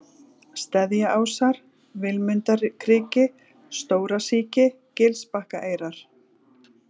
Steðjaásar, Vilmundarkriki, Stórasíki, Gilsbakkaeyrar